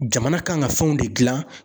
Jamana kan ka fɛnw de gilan